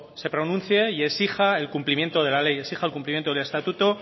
se pronuncie y exija el cumplimiento de la ley exija el cumplimiento del estatuto